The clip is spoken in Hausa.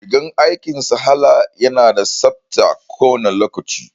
Rigar aikin Salaha ya na da tsabta kowane lokaci